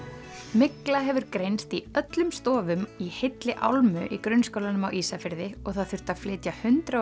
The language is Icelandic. mygla hefur greinst í öllum stofum í heilli álmu í grunnskólanum á Ísafirði og það þurfti að flytja hundrað